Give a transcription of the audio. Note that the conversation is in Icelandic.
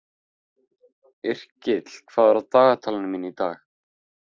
Yrkill, hvað er í dagatalinu mínu í dag?